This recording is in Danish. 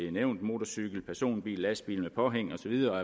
er nævnt motorcykel personbil lastbil med påhæng og så videre